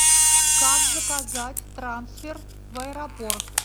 как заказать трансфер в аэропорт